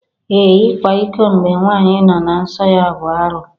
Ee! Ịkwa iko mgbe nwanyị nọ na nsọ ya bụ arụ.